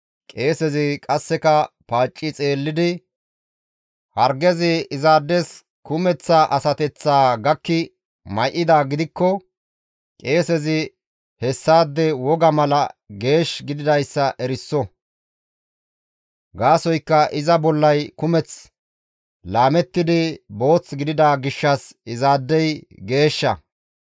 qeesezi qasseka paacci xeellidi hargezi izaades kumeththa asateththaa gakki may7idaa gidikko qeesezi hessaade woga mala geesh gididayssa eriso; gaasoykka iza bollay kumeth laamettidi booth gidida gishshas izaadey geeshsha.